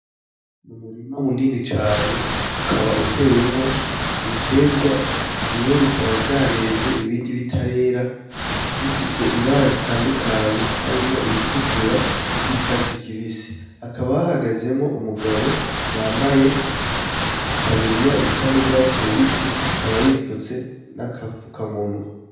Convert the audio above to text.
N,umurima munini cane ukaba utewemwo ibiterwa bimwe bikaba vyareze ibindi bitarera bifise ibara zitandukanye harimwo iritukura n,iryicatsi kibisi hakaba hahagazemwo umugabo yambaye itaburiya isa n,urwatsi rubisi akaba yipfutse n'akapfuka munwa.